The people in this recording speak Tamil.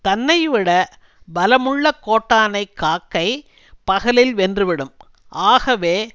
தன்னை விட பலமுள்ள கோட்டானை காக்கை பகலில் வென்றுவிடும் ஆகவே